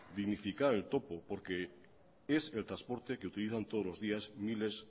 dignificar el topo porque es el transporte que utilizan todos los días miles